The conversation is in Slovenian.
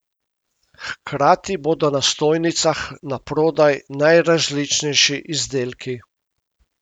Hkrati bodo na stojnicah naprodaj najrazličnejši izdelki.